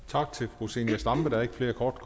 tak til fru zenia stampe der er ikke flere korte